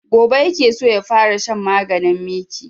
Gobe ya ke so ya fara shan maganin miki